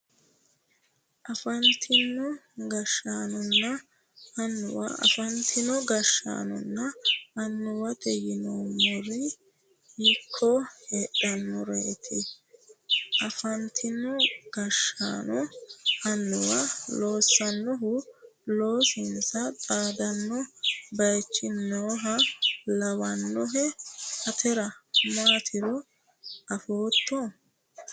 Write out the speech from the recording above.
Afantino gashshaanonna annuwa afantino gashshaanonna annuwate yineemmori hiikko heedhannoreeti afantino gashshaanonna annuwa loossannohu loosinsa xaadanno baychi nooha lawannohe atera maatiro afootto